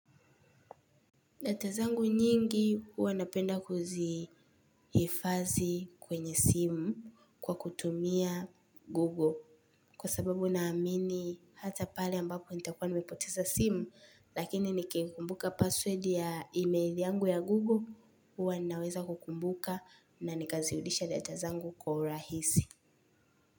Letter zangu nyingi huwa napenda kuzihifadhi kwenye simu kwa kutumia Google. Kwa sababu naamini hata pale ambapo nitakua nimepoteza simu lakini nikikumbuka password ya email yangu ya Google, huwa ninaweza kukumbuka na nikazirudisha data zangu kwa urahisi.